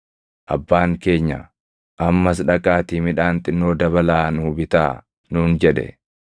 “Abbaan keenya, ‘Ammas dhaqaatii midhaan xinnoo dabalaa nuu bitaa’ nuun jedhe.